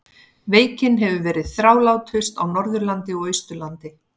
Veikin hefur verið þrálátust á Norðurlandi og Austurlandi.